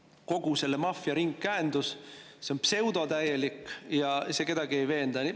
See on kogu selle maffia ringkäendus, see on täielik pseudo ja see ei veena kedagi.